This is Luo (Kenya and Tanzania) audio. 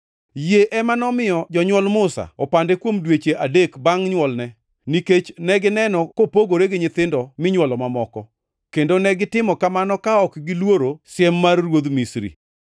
Yie ema nomiyo jonywol Musa opande kuom dweche adek bangʼ nywolne, nikech negineno kopogore gi nyithindo minywolo mamoko; kendo negitimo kamano ka ok giluoro siem mar ruodh Misri.